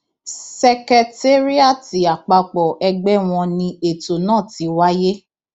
ṣèkẹtéríátì àpapọ ẹgbẹ wọn ni ètò náà ti wáyé